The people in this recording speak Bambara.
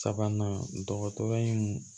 Sabanan dɔgɔtɔrɔ in